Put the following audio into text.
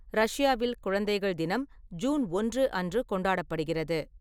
ரஷ்யாவில், குழந்தைகள் தினம் ஜூன் ஒன்று அன்று கொண்டாடப்படுகிறது.